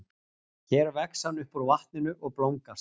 Hér vex hann upp úr vatninu og blómgast.